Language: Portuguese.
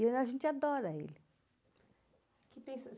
E a gente adora ele.